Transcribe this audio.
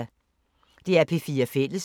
DR P4 Fælles